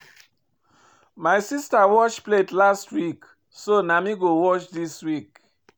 My sista wash plate last week so na me go wash dis week.